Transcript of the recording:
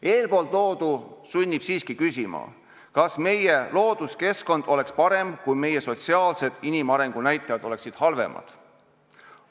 Eespool toodu sunnib siiski küsima, kas meie looduskeskkond oleks parem, kui meie inimarengu sotsiaalsed näitajad oleksid halvemad.